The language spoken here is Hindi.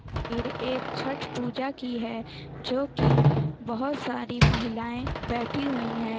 फिर एक छठ पूजा की है जो की बहुत सारी महिलाएं बैठी हुई है।